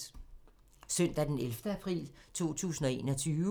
Søndag d. 11. april 2021